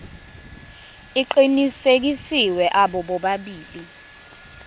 aqinisekisiwe abo bobabili